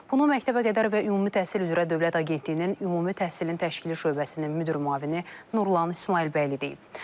Bunu məktəbəqədər və ümumi təhsil üzrə Dövlət Agentliyinin Ümumi Təhsilin Təşkili şöbəsinin müdir müavini Nurlan İsmayılbəyli deyib.